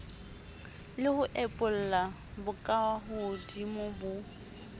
le ho epolla bokahodimo bo